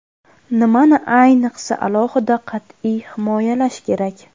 Nimani ayniqsa alohida qat’iy himoyalash kerak?